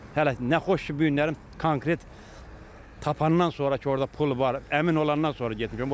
Hələ nə xoş ki, bu günləri konkret tapandan sonra ki, orda pul var, əmin olandan sonra getmişəm.